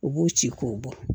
U b'u ci k'o bɔ